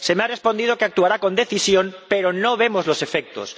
Se me ha respondido que actuará con decisión, pero no vemos los efectos.